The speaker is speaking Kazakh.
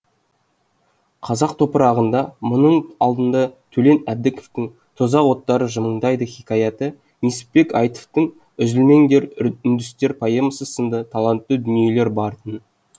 қазақ топырағында мұның алдында төлен әбдіковтің тозақ оттары жымыңдайды хикаяты несіпбек айтовтың үзілмеңдер үндістер поэмасы сынды талантты дүниелер бар тын